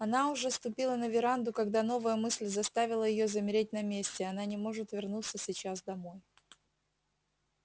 она уже ступила на веранду когда новая мысль заставила её замереть на месте она не может вернуться сейчас домой